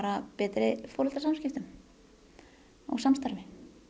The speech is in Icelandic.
betri foreldrasamskiptum og samstarfi